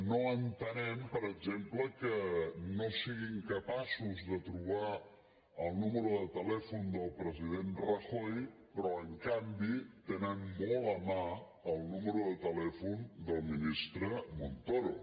no entenem per exemple que no siguin capaços de trobar el número de telèfon del president rajoy però en canvi tenen molt a mà el número de telèfon del mi·nistre montoro